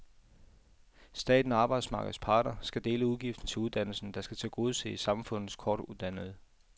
Staten og arbejdsmarkedets parter skal dele udgiften til uddannelsen, der skal tilgodese samfundets kortuddannede.